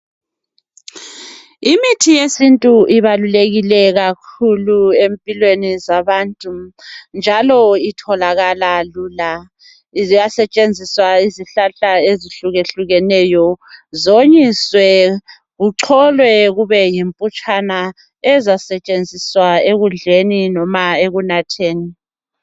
Imithi yesintu ibalulekile kakhulu empilweni zabantu njalo itholakala lula. Ziyasetshenziswa izihlahla ezihlukahlukene ziwonyiswe zicolwe zibe yimpuphu ezasetshenziswa ekudleni loba ekunatheni.